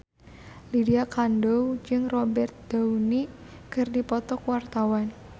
Lydia Kandou jeung Robert Downey keur dipoto ku wartawan